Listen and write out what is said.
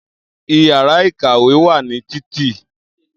Iyàrá ìkàwé wà ní Títì